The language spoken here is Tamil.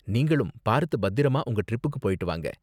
நீங்களும் பார்த்து பத்திரமா உங்க ட்ரிப்க்கு போயிட்டு வாங்க.